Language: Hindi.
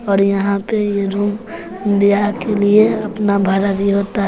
और यहां पे ये रूम ब्याह के लिए अपना भाड़ा दीए होता--